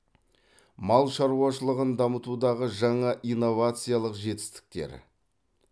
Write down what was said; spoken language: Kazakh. мал шаруашылығын дамытудағы жаңа инновациялық жетістіктер